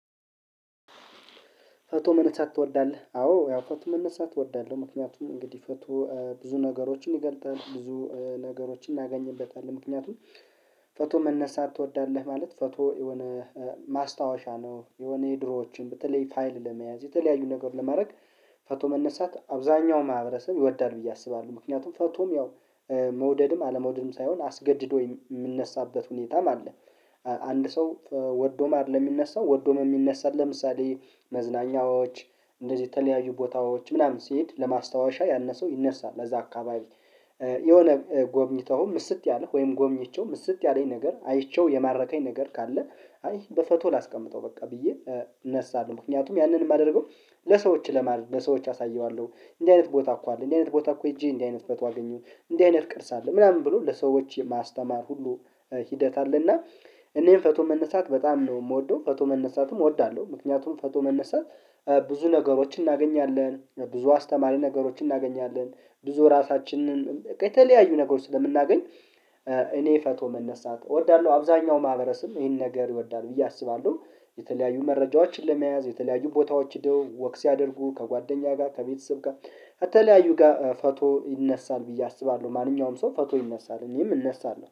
ፎቶ መነሳት ትወዳለህ? አዎ ያው ፎቶ መነሳት እወዳለሁ። ምክንያቱም እንግዲህ ፎቶ ብዙ ነገሮችን ይገልጣል ብዙ ነገሮችን እናገኝበታለን ምክንያቱም ፎቶ መነሳት ትወዳለህ ማለት ፎቶ የሆነ ማስታወሻ ነው። የሆነ የድሮዎችን በተለይ ፋይል ለመያዝ የተለያዩ ነገር ለማድረግ ፎቶ መነሳት አብዛኛው ማህበረሰብ ይወዳል ብዬ አስባለሁ። ምክንያቱም ፎቶም ያው መውደድም አለመውደድም ሳይሆን አስገድዶ የምንነሳበት ሁኔታም አለ። አንድ ሰው ወዶም አይደለም የሚነሳው ወዶም ነው የሚነሳው ለምሳሌ መዝናኛዎች እንደዚህ የተለያዩ ቦታዎች ምናምን ሲሄድ ለማስታወሻ ያንሰው ይነሳ ለዛ አካባቢ የሆነ ጎብኝተኸው ምስጥ ያለህ ወይም ጎብኝቼው ምስጥ ያለኝ ነገር አይቼው የማረከኝ ነገር ካለ አይ በፎቶ ላስቀምጠው በቃ ብዬ እነሳለሁ። ምክንያቱም ያንን የማደርገው ለሰዎች ማለት ለሰዎች አሳየዋለሁ እንዲህ አይነት ቦታ እኮ አለ እንዲህ አይነት ቦታ እኮ ሄጄ እንዲህ አይነት ፎቶ አገኘሁኝ እንዲህ አይነት ቅርጽ አለ ምናምን ብሎ ለሰዎች ማስተማር ሁሉ ሂደት አለና። እኔም ፎቶ መነሳት በጣም ነው የምወደው ፎቶ መነሳትም እወዳለሁ። ምክንያቱም ፎቶ መነሳት ብዙ ነገሮችን እናገኛለን ብዙ አስተማሪ ነገሮችን እናገኛለን ብዙ እራሳችንን የተለያዩ ነገሮች ስለምናገኝ እኔ ፎቶ መነሳት እወዳለሁ። አብዛኛው ማህበረሰብም ይሄንን ነገር ይወዳል ብዬ አስባለሁ። የተለያዩ መረጃዎችን ለመያዝ የተለያዩ ቦታዎች ሄደው ወክ ሲያደርጉ ከጓደኛ ጋር ከቤተሰብ ጋር ከተለያዩ ጋር ፎቶ ይነሳል ብዬ አስባለሁ። ማንኛውም ሰው ፎቶ ይነሳል እኔም እነሳለሁ